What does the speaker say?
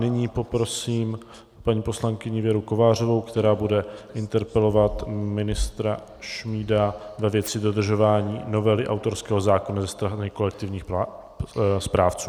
Nyní poprosím paní poslankyni Věru Kovářovou, která bude interpelovat ministra Šmída ve věci dodržování novely autorského zákona ze strany kolektivních správců.